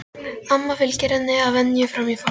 Amma fylgir henni að venju fram í forstofu.